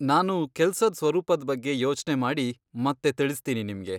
ನಾನು ಕೆಲ್ಸದ್ ಸ್ವರೂಪದ್ ಬಗ್ಗೆ ಯೋಚ್ನೆ ಮಾಡಿ ಮತ್ತೆ ತಿಳಿಸ್ತೀನಿ ನಿಮ್ಗೆ.